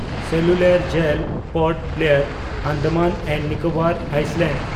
cellular jail (port Blair, Andaman and Nicobar islands)